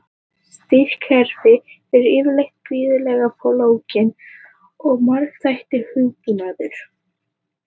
Stýrikerfi eru yfirleitt gríðarlega flókin og margþættur hugbúnaður.